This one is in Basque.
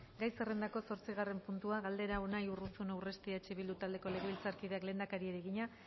gai zerrendako zortzigarren puntua galdera unai urruzuno urresti eh bildu taldeko legebiltzarkideak lehendakariari egina